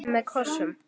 Með kossum.